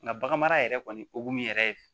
Nka bagan mara yɛrɛ kɔni okun yɛrɛ ye